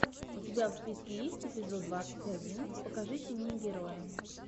у тебя в списке есть эпизод двадцать один покажите мне героя